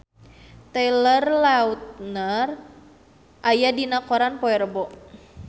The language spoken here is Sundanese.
Taylor Lautner aya dina koran poe Rebo